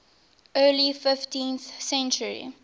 early fifteenth century